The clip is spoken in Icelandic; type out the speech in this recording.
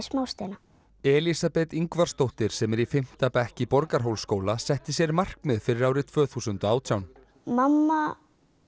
Elísabet Ingvarsdóttir sem er í fimmta bekk í Borgarhólsskóla setti sér markmið fyrir árið tvö þúsund og átján mamma